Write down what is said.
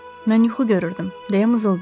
Mən yuxu görürdüm, deyə mızıldandı.